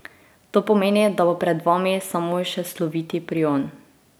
To pomeni, da bo pred vami samo še sloviti Prion.